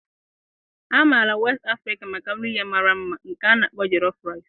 A maara West Africa maka nri ya mara mma nke a na-akpọ Jollof Rice.